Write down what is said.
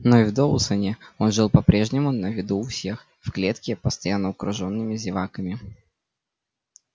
но и в доусоне он жил по прежнему на виду у всех в клетке постоянно окружёнными зеваками